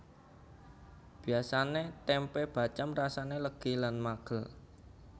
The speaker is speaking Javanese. Biasane tempe bacém rasane legi lan magel